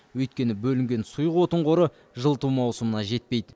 өйткені бөлінген сұйық отын қоры жылыту маусымына жетпейді